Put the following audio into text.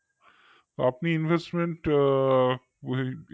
আপনি investment